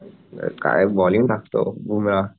काय बॉलिंग टाकतो बुमराह